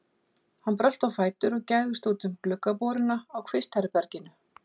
Hann brölti á fætur og gægðist út um gluggaboruna á kvistherberginu.